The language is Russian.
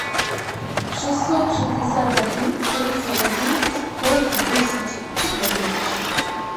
шестьсот шестьдесят один тридцать один сто десять четырнадцать